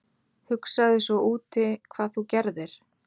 Hugsaðu svo úti hvað þú gerðir??